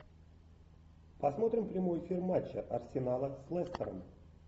посмотрим прямой эфир матча арсенала с лестером